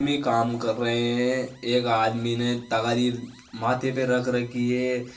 काम कर रहे है एक आदमी ने तगारी माथे पे रख रखी है।